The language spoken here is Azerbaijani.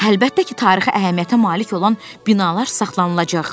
Əlbəttə ki, tarixi əhəmiyyətə malik olan binalar saxlanılacaq.